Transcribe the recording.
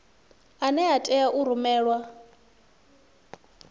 ane a tea u rumelwa